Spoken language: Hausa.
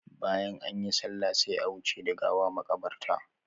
Bayan anyi sallah sai a wuce da gawa makabarta.